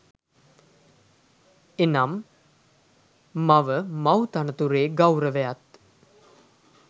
එනම්, මව මව් තනතුරේ ගෞරවයත්